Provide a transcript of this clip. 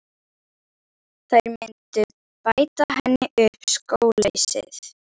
Þær myndu bæta henni upp skóleysið.